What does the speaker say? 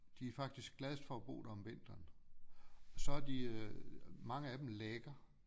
De er faktisk gladest for at bo der om vinteren og så er de øh mange af dem lækker